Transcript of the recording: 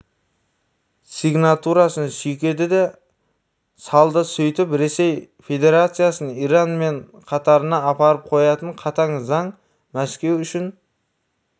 сигнатурасын сүйкеді де салды сөйтіп ресей федерациясын иран мен қатарына апарып қоятын қатаң заң мәскеуүшін